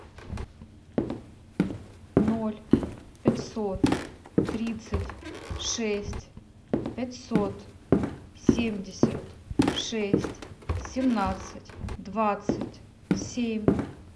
ноль пятьсот тридцать шесть пятьсот семьдесят шесть семнадцать двадцать семь